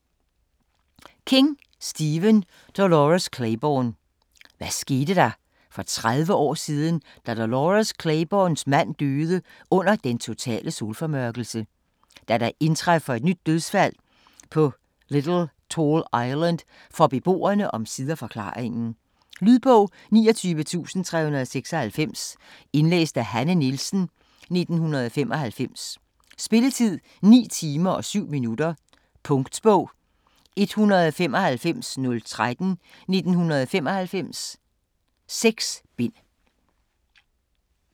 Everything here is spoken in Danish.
King, Stephen: Dolores Claiborne Hvad skete der for 30 år siden da Dolores Claibornes mand døde under den totale solformørkelse? Da der indtræffer et nyt dødsfald på Little Tall Island får beboerne omsider forklaringen. Lydbog 29396 Indlæst af Hanne Nielsen, 1995. Spilletid: 9 timer, 7 minutter. Punktbog 195013 1995. 6 bind.